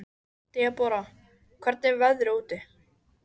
Debora, hvernig er veðrið úti?